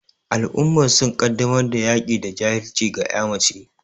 Al'ummar sun kaddamar da yaki da jahilci ga ƴa mace